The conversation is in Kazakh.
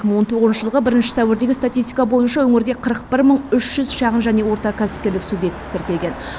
он тоғызыншы жылғы бірінші сәуірдегі статистика бойынша өңірде қырық бір мың үш жүз шағын және орта кәсіпкерлік субъектісі тіркелген